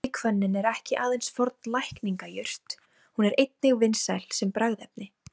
Ef Ísland vinnur og Holland vinnur, þá fer Holland í umspilið og Tyrkland ekki.